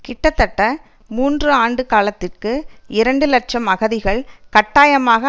கிட்டத்தட்ட மூன்று ஆண்டு காலத்திற்கு இரண்டு இலட்சம் அகதிகள் கட்டாயமாக